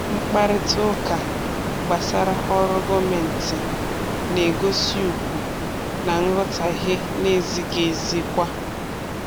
Mkparịta ụka gbasara ọrụ gọọmentị na-egosi ugwu na nghọtahie na-ezighị ezi kwa.